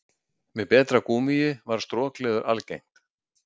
með betra gúmmíi varð strokleður algengt